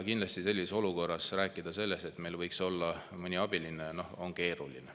Kindlasti sellises olukorras rääkida sellest, et meil võiks olla mõni abiline, on keeruline.